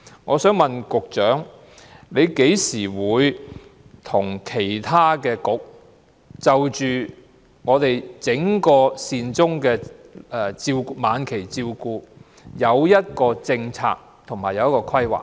我想問局長，何時才會聯同其他政策局，商討關於整個晚期善終服務的政策和規劃？